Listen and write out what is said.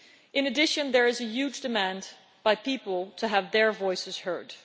In addition, there is a huge demand by people to have their voices heard.